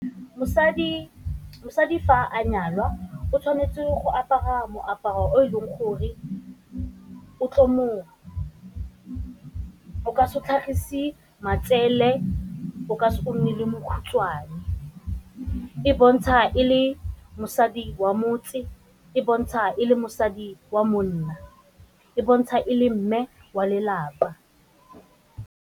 Mosadi fa a nyalwa o tshwanetse go apara moaparo o e leng gore o ka se tlhagise matsele o ka se nne le mokhutswane, e bontsha e le mosadi wa motse, e bontsha e le mosadi wa monna, e bontsha e le mme wa lelapa.